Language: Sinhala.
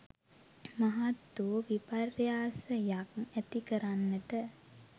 මහත් වූ විපර්යාසයක් ඇති කරන්නට